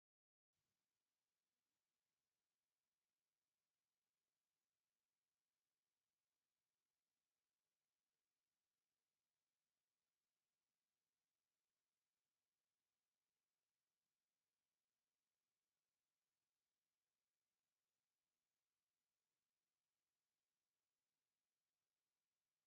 እዚ ብጸሊም ኣቕሓ ተተሓሒዞም ዝተፈላለዩ ቅዱሳንን መላእኽትን ምስልታት ዝሓዘ እኩብ ውፉይ መስዋእቲ ዘርኢ እዩ። ብድሙቕ ሕብሪ ዝተሸለመን መንፈሳዊ ምልክት ዘለዎን እዩ። እዚ ድማ መንፈሳዊን ፍቑርን ሰላማውን ኮይኑ ይስምዓካ።